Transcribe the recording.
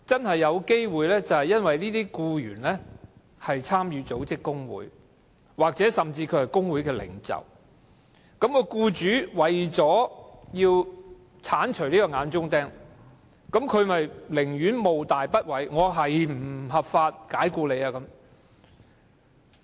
可能是因為僱員參與組織工會或甚至擔任工會領袖，僱主為了鏟除這口眼中釘，甘冒大不韙，不合法地解僱該僱員。